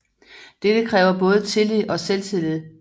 Dette kræver både tillid og selvtillid